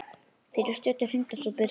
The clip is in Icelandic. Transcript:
Fyrir stuttu hringdi svo Birkir.